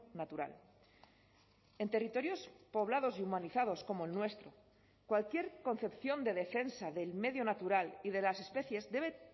natural en territorios poblados y humanizados como el nuestro cualquier concepción de defensa del medio natural y de las especies debe